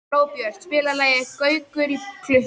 Glóbjört, spilaðu lagið „Gaukur í klukku“.